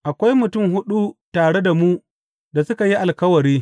Akwai mutum huɗu tare da mu da suka yi alkawari.